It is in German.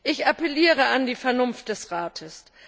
Ich appelliere an die Vernunft des Rates.